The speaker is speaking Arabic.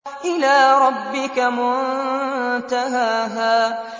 إِلَىٰ رَبِّكَ مُنتَهَاهَا